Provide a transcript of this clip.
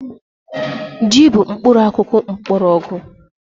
Ji bụ mkpụrụakụkụ mkpọrọgwụ